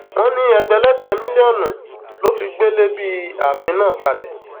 wọn ní ẹgbẹlẹgbẹ mílíọnù ló fi gbélé bíi àfin náà kalẹ